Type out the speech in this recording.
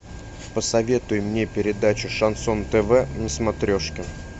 посоветуй мне передачу шансон тв на смотрешке